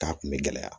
K'a kun bɛ gɛlɛya